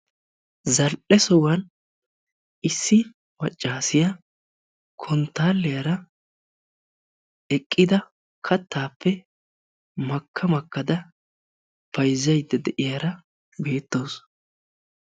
Zal"e sohuwan issi maaccaasiya konttaliyaara eqqida kattaappe makka makkada bayzzaydda de'iyara beettawusu.